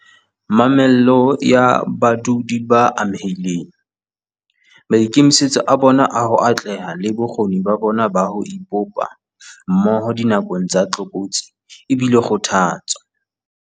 Mamello ya badudi ba amehileng, maikemisetso a bona a ho atleha le bokgoni ba bona ba ho ipopa mmoho dinakong tsa tlokotsi e bile kgothatso.